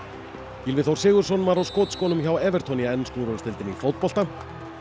Gylfi Þór Sigurðsson var á skotskónum hjá í ensku úrvalsdeildinni í fótbolta